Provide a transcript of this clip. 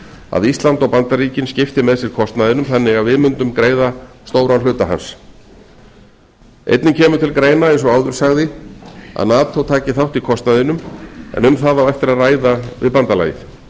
að ísland og bandaríkin skipti með sér kostnaðinum þannig að við mundum greiða stóran hluta kostnaðarins einnig kemur til greina eins og áður segir að nato taki þátt í kostnaðinum en um það á eftir að ræða við bandalagið